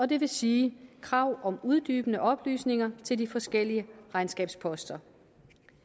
det vil sige krav om uddybende oplysninger til de forskellige regnskabsposter